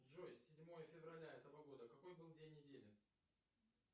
джой седьмое февраля этого года какой был день недели